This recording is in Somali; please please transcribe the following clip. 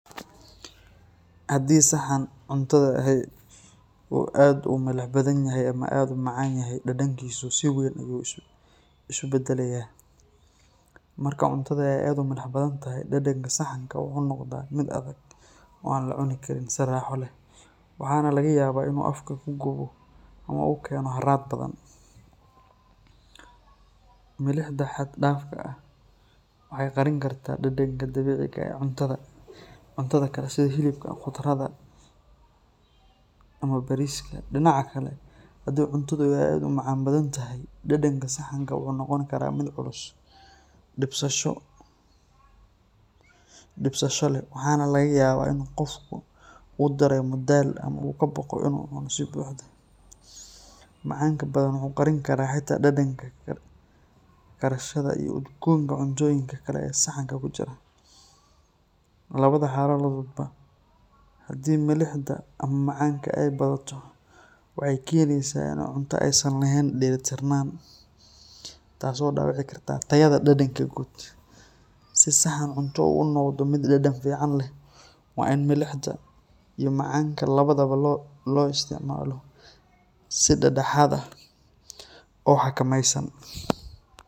Haddii saxan cuntada ahi uu aad u milix badan yahay ama aad u macaan yahay, dhadhankiisu si weyn ayuu isu beddelayaa. Marka cuntadu ay aad u milix badan tahay, dhadhanka saxanka wuxuu noqdaa mid adag oo aan la cunin karin si raaxo leh, waxaana laga yaabaa in uu afka ku gubo ama uu keeno harraad badan. Milixda xad dhaafka ah waxay qarin kartaa dhadhanka dabiiciga ah ee cuntada kale sida hilibka, khudradda, ama bariiska. Dhinaca kale, haddii cuntadu ay aad u macaan tahay, dhadhanka saxanka wuxuu noqon karaa mid culus, dhibsasho leh, waxaana laga yaabaa in qofku uu dareemo daal ama uu ka baqo inuu cuno si buuxda. Macaanka badan wuxuu qarin karaa xitaa dhadhanka karsashada iyo udgoonka cuntooyinka kale ee saxanka ku jira. Labada xaaladoodba, haddii milixda ama macaanka ay badato, waxay keenaysaa in cunto aysan ahayn dheellitiran, taasoo dhaawici karta tayada dhadhanka guud. Si saxan cunto uu u noqdo mid dhadhan fiican leh, waa in milixda iyo macaanka labadaba loo isticmaalo si dhexdhexaad ah oo xakameysan.